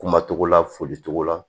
Kuma togo la foli cogo la